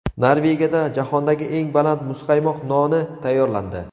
Norvegiyada jahondagi eng baland muzqaymoq noni tayyorlandi.